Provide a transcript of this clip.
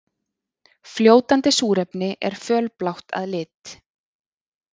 Fljótandi súrefni er fölblátt að lit.